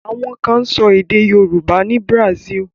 Àwọn kan sọ èdè Yorùbá ni Brazil.